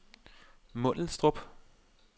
Mundelstrup